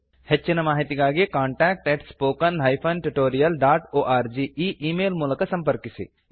ಹೆಚ್ಚಿನ ಮಾಹಿತಿಗಾಗಿ contact spoken tutorialorg ಈ ಈ ಮೇಲ್ ಮೂಲಕ ಸಂಪರ್ಕಿಸಿ